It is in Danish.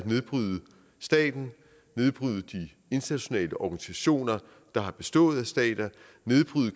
nedbryde staten nedbryde de internationale organisationer der har bestået af stater nedbryde